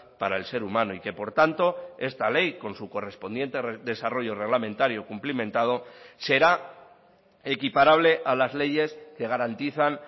para el ser humano y que por tanto esta ley con su correspondiente desarrollo reglamentario cumplimentado será equiparable a las leyes que garantizan